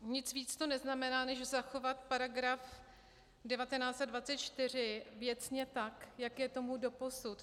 Nic víc to neznamená, než zachovat paragraf 19 a 24 věcně tak, jak je tomu doposud.